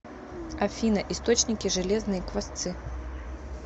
афина источники железные квасцы